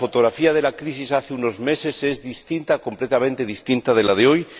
La fotografía de la crisis hace unos meses era distinta, completamente distinta, a la de hoy.